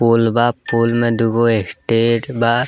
पोल बा पोल मे दूगो स्टेट बा।